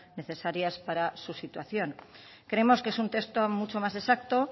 necesarias para su situación creemos que es un texto mucho más exacto